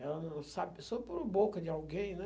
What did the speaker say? Ela não sabe, só por boca de alguém, né?